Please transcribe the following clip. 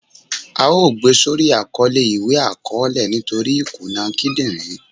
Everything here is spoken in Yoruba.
À o gbé sórí Àkọlé iwe akọọlẹ nítorí ìkúná kídínrín